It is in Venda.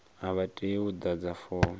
a vha tei u ḓadza fomo